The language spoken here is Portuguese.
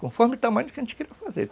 Conforme o tamanho que a gente queira fazer.